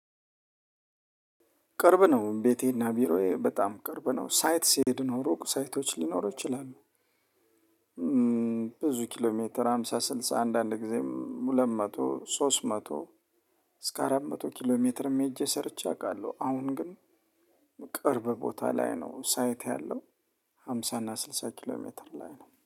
ቅርብ ነው ቤቴና ቢሮዬ በጣም ቅርብ ነው ሳይት ሲሄድ ነው ሩቅ ሩቅ ሳይቶች ሊኖሩ ይችላሉ ይችላል። ብዙ ኪሎ ሜትር ሃምሳ ስልሳ አንዳንድ ጊዜም ሁለት መቶ ሶስት መቶ እስከ አራት መቶ ኪሎ ሜትርም ሄጄ ሰርቼ አውቃለሁ። አሁን ግን ቅርብ ቦታ ላይ ነው ሳይት ያለው። ሃምሳ እና ስልሳ ኪሎ ሜትር ላይ ነው